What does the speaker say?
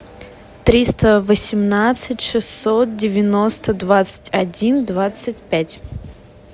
триста восемнадцать шестьсот девяносто двадцать один двадцать пять